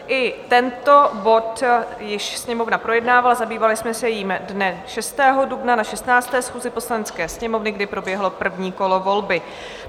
I tento bod již Sněmovna projednávala, zabývali jsme se jím dne 6. dubna na 16. schůzi Poslanecké sněmovny, kdy proběhlo první kolo volby.